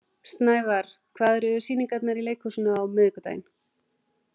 Snævarr, hvaða sýningar eru í leikhúsinu á miðvikudaginn?